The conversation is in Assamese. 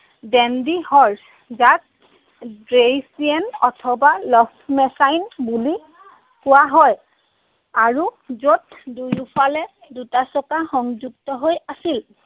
Dandy Horse, যাক Dreaisienne অথবা Laufmaschine বুলি কোৱা হয়। আৰু য'ত দুয়োফালে দুটা চকা সংযুক্ত হৈ আছিল।